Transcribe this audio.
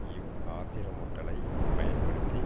இவ் ஆத்திரமூட்டலை பயன்படுத்தி